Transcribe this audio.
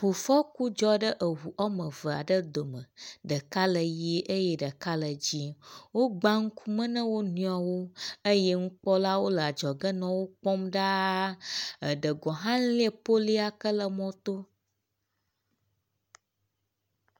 ʋufɔku dzɔɖe ʋu ɔmeveaɖe dome , ɖeka le ɣie eye ɖeka le dzĩe, wógbã ŋkume ne wonoewo eye ŋukpɔlawo leadzɔge nɔ ŋukpɔm ɖaa, eɖe gɔhã elie poliyike le mɔtó